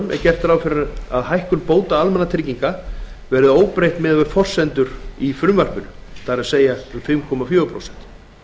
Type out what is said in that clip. er gert ráð fyrir að hækkun bóta almannatrygginga verði óbreytt miðað við forsendur í frumvarpinu það er um fimm komma fjögur prósent